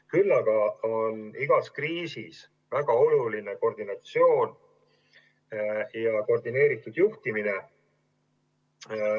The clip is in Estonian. Küll aga on igas kriisis väga oluline organiseerimine ja koordineeritud juhtimine.